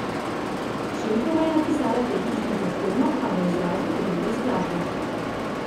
Šenkova je napisala tehnično zahtevno, a v izrazu igrivo skladbo.